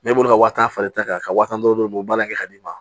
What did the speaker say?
i b'o ka waa tan de ta ka waa tan dɔrɔn baara in kɛ ka d'i ma